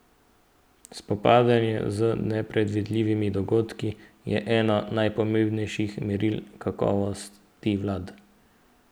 Spopadanje z nepredvidljivimi dogodki je eno najpomembnejših meril kakovosti vlad.